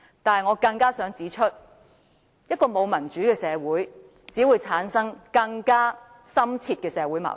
但我更想指出，一個沒有民主的社會，只會產生更深切的社會矛盾。